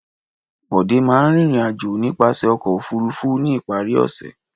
Bọ̀dé máa ń rìnrìn-àjò nípasẹ̀ ọkọ̀-òfurufú ní ìparí ọ̀sẹ̀.